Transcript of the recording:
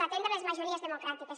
atendre les majories democràtiques